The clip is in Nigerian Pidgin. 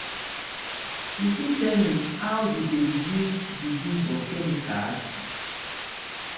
you fit tell me how you dey reduce di use of chemicals?